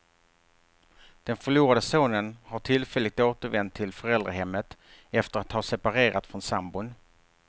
Den förlorade sonen har tillfälligt återvänt till föräldrahemmet efter att ha separerat från sambon.